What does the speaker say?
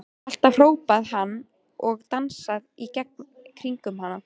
Alltaf! hrópaði hann og dansaði í kringum hana.